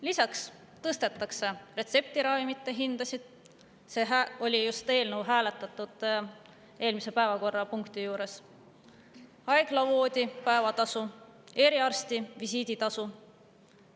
Lisaks tõstetakse retseptiravimite – seda eelnõu hääletasime just eelmise päevakorrapunkti juures –, haigla voodipäevatasu ja eriarsti visiiditasu.